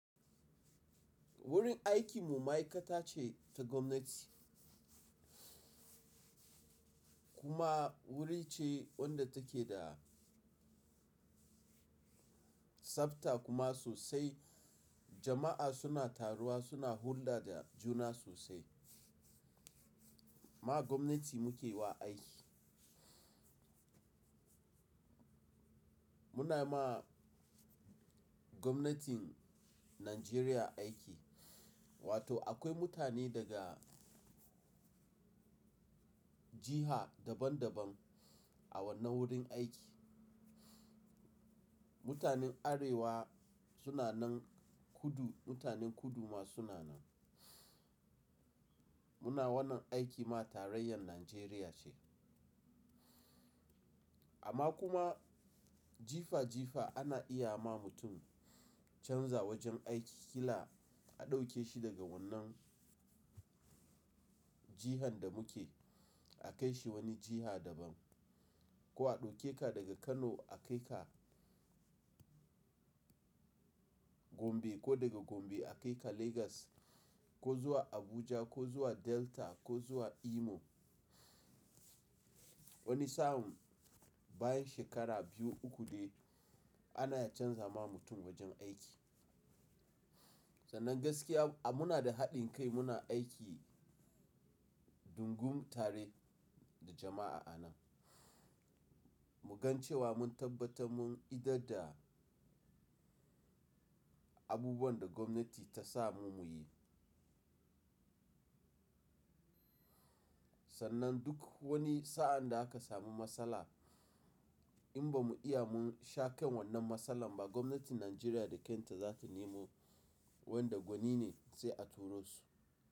Wurin aikinmu ma'aikata ce ta gwamnati. Kuma wuri ce wadda take da tsabta kuma sosai jama'a suna taruwa suna hulɗa da juna sosai. Ma gwamnati muke wa aiki. Muna ma gwamnatin Najeriya aiki, wato akwai mutane daga jiha daban daban a wannan wurin aiki. Mutanen Arewa suna nan, kudu mutanen kudu ma suna nan. Muna wannan aiki ma tarayyar Najeriya ce. Amma kuma jifa jifa ana iya ma mutum canza wajen aiki. Kila a ɗauke shi daga wannan jihan da muke a kai shi wani jiha daban. Ko a ɗauke ka daga Kano a kai ka Gombe ko daga Gombe a kai ka Legas ko zuwa Abuja ko zuwa Delta ko zuwa Imo. Wani sa'an bayan shekara biyu uku dai ana canza ma mutum wajen aiki. Sannan gaskiya muna da haɗin kai muna aiki dungum tare da jama'a a nan. Mu gan cewa mun tabbata mun idi da abubuwan da gwamnati ta sa mu muyi. Sannan duk wani sa'an da aka samu matsala in ba mu iya mun shaƙan wannan matsalan ba gwamnatin Najeriya da kanta za ta nemo wanda gwani ne sai a turo su.